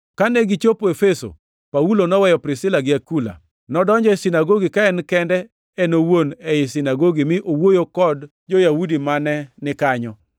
Kane gichopo Efeso, Paulo noweyo Priskila gi Akula. Nodonjo e sinagogi ka en kende en owuon ei sinagogi mi owuoyo kod jo-Yahudi mane ni kanyo.